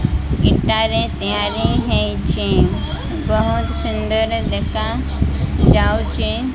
ଇଟା ରେ ତିଆରି ହେଇଛି ବହୁତ୍ ସୁନ୍ଦର ଦେଖାଯାଉଛି।